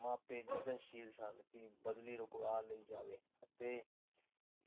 ਮਾਪੇ ਯਤਨਸ਼ੀਲ ਸਨ ਕਿ ਬਦਲੀ ਰੁਕਵਾ ਲਈ ਜਾਵੇ। ਤੇ